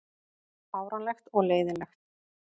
Fáránlegt og leiðinlegt